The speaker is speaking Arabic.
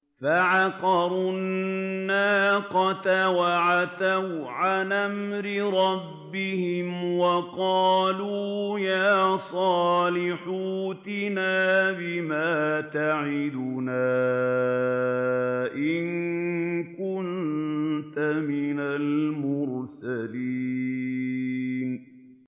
فَعَقَرُوا النَّاقَةَ وَعَتَوْا عَنْ أَمْرِ رَبِّهِمْ وَقَالُوا يَا صَالِحُ ائْتِنَا بِمَا تَعِدُنَا إِن كُنتَ مِنَ الْمُرْسَلِينَ